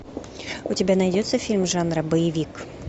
у тебя найдется фильм жанра боевик